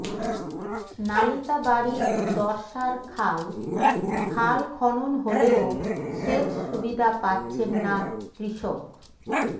নালিতাবাড়ীর দর্শার খাল খাল খনন হলেও সেচ সুবিধা পাচ্ছেন না কৃষক